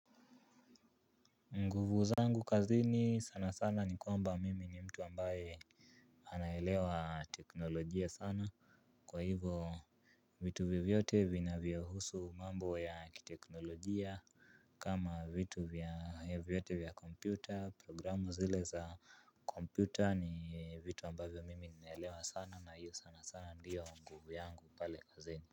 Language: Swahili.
Nguvu zangu kazini sana sana ni kwamba, mimi ni mtu ambaye anaelewa teknolojia sana kwa hivo vitu vyovyote vinavyohusu mambo ya teknolojia. Kama vitu vya vyote vya kompyuta, programu zile za kompyuta ni vitu ambavyo mimi naelewa sana na hiyo sana sana ndiyo nguvu yangu pale kazini.